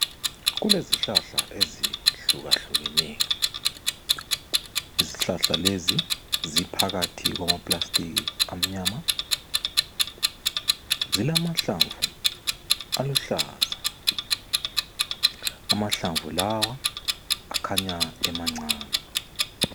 Kulezihlahla ezehlukahlukeneyo izihlahla lezi ziphakathi kwamaplasitiki amnyama, zilamahlamvu aluhlaza amahlamvu lawa akhanya emancani.